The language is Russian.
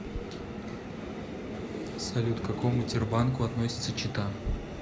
салют к какому тербанку относится чита